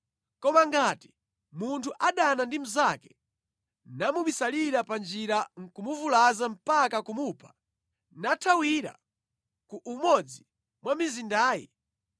Koma ngati munthu adana ndi mnzake namubisalira panjira nʼkumuvulaza mpaka kumupha, nathawira ku umodzi mwa mizindayi,